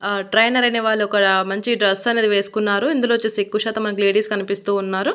ఆహ్ ట్రైనర్ అనే వాళ్ళు అక్కడ మంచి డ్రెస్ అనేది వేసుకున్నారు ఇందులో వచ్చేసి ఎక్కవ శాతం మనకి లేడీస్ కనిపిస్తూ ఉన్నారు.